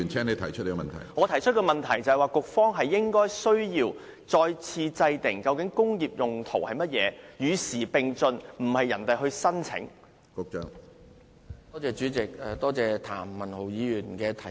我提出的補充質詢是，局方需要再次制訂"工業用途"的定義，與時並進，而不是由土地承租人提出申請。